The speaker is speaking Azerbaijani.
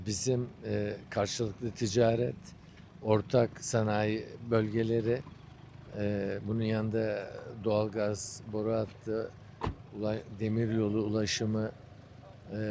Bizim qarşılıqlı ticarət, ortaq sənaye bölgələri, bunun yanında doğalgaz boru hattı, dəmir yolu ulaşımı var,